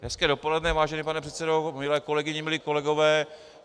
Hezké dopoledne, vážený pane předsedo, milé kolegyně, milí kolegové.